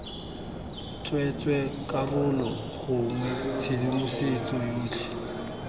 tsweetswee karolo gongwe tshedimosetso yotlhe